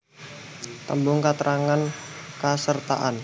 Tembung katrangan kasertaan